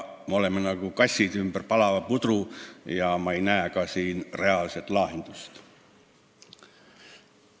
Me käime nagu kassid ümber palava pudru ja ma ei näe siin reaalset lahendust.